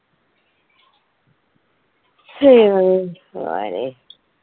ഹും